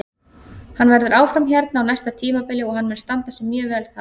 Hann verður áfram hérna á næsta tímabili og hann mun standa sig mjög vel þá.